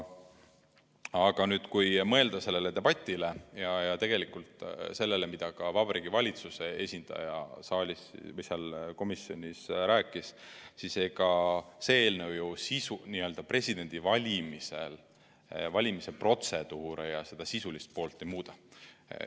Aga kui mõelda sellele debatile ja sellele, mida Vabariigi Valitsuse esindaja komisjonis rääkis, siis ega see eelnõu ju presidendi valimise protseduure, seda sisulist poolt ei muuda.